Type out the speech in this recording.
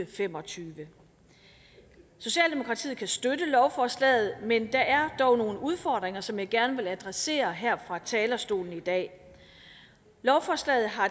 fem og tyve socialdemokratiet kan støtte lovforslaget men der er dog nogle udfordringer som jeg gerne vil adressere her fra talerstolen i dag lovforslaget har